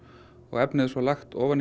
efnið er svo lagt ofan